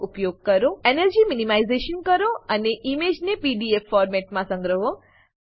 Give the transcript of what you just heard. energy minimisation energy minimisation કરો અને ઈમેજને પીડીએફ ફોર્મેટમાં સંગ્રહો